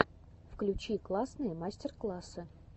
включи классные мастер классы